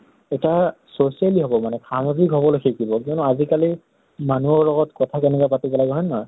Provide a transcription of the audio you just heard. এটা socially হʼব মানে। সামাজিক হবলৈ শিকিব কিয়্নো আজি কালি মানুহৰ লহত কথা কেনেকৈ পাতিব লাগে হয় নে নহয়?